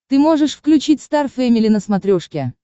ты можешь включить стар фэмили на смотрешке